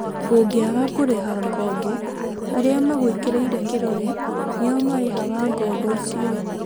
ũngĩaga kũrĩha ngoombo arĩa magwĩkĩrĩire kĩrore nio marĩhaga ngombo icio